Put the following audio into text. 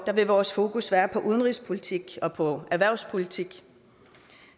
vores fokus være på udenrigspolitik og på erhvervspolitik